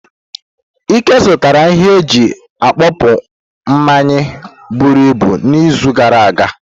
Ike zụtara ihe eji akpope mmanyi buruibu n'izu gara aga.